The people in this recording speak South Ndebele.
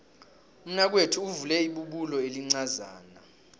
umnakwethu uvule ibubulo elincazana